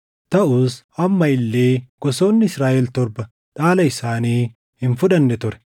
taʼus amma illee gosoonni Israaʼel torba dhaala isaanii hin fudhanne ture.